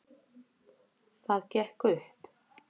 Það gekk upp.